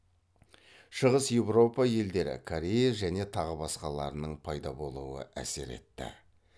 шығыс еуропа елдері корея және тағы басқаларының пайда болуы әсер етті